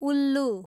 उल्लु